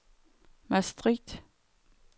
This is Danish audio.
Maastricht